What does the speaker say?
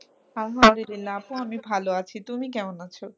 আলহামদুলিল্লাহ আপু আমি ভালো আছি, তুমি কেমন আছো?